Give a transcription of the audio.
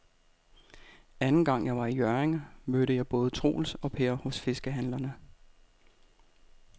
Anden gang jeg var i Hjørring, mødte jeg både Troels og Per hos fiskehandlerne.